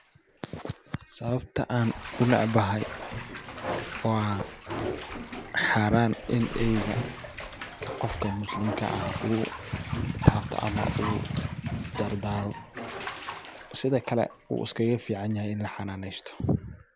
Sawaabta aan uu necbahaay waa xaraan iin eeyga qofkaa muslimkaa aah uu tabtaa ama uu daardaro siida kaale wuu iskaaga ficaan yahay iin laa xananeysto.